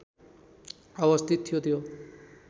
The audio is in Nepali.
अवस्थित थियो त्यो